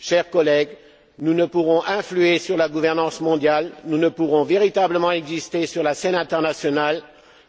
Chers collègues, nous ne pourrons influer sur la gouvernance mondiale, nous ne pourrons véritablement exister sur la scène internationale